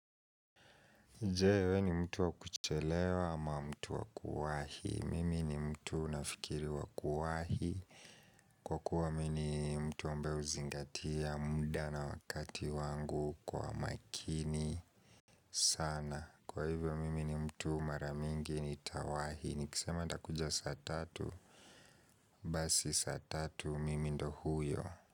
Je, wewe ni mtu wa kuchelewa ama mtu wa kuwahi? Mimi ni mtu nafikiri wa kuwahi kwa kuwa mimi ni mtu ambaye huzingatia muda na wakati wangu kwa makini sana kwa hivyo mimi ni mtu mara mingi ni tawahi Nikisema nitakuja saa tatu Basi saa tatu mimi ndio huyo.